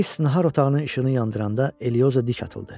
Qreys nahar otağının işığını yandıranda Elioza dik atıldı.